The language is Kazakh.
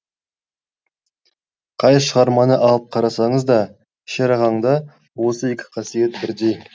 қай шығарманы алып қарасаңыз да шерағаңда осы екі қасиет бірдей